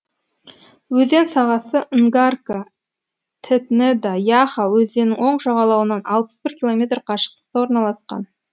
өзен сағасы нгарка тетнеда яха өзенінің оң жағалауынан алпыс бір километр қашықтықта орналасқан